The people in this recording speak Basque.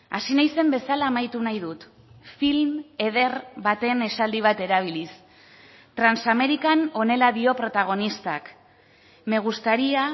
hasi naizen bezala amaitu nahi dut film eder baten esaldi bat erabiliz transamerican honela dio protagonistak me gustaría